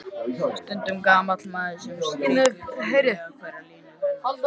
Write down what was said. Stundum gamall maður sem strýkur blíðlega hverja línu hennar.